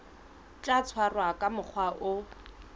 tla tshwarwa ka mokgwa o